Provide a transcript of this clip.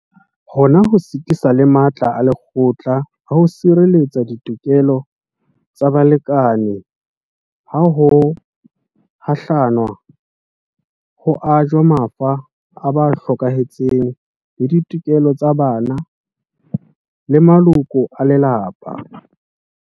Hona ho sitisa le matla a lekgotla a ho sirelletsa ditokelo tsa balekane ha ho hlalanwa, ho ajwa mafa a ba hlokahetseng le ditokelo tsa bana le maloko a lelapa.